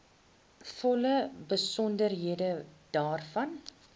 volle besonderhede daarvan